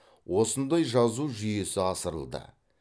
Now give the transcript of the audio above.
осындай жазу жүйесі ысырылды